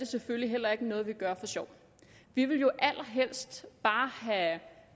selvfølgelig heller ikke noget vi gør for sjov vi ville jo allerhelst bare have